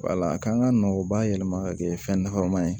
Wala a kan ka na o bayɛlɛma ka kɛ fɛn nafa ma ye